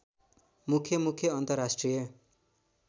मुख्य मुख्य अन्तर्राष्ट्रिय